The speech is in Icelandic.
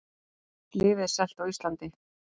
Lyfið er selt á Íslandi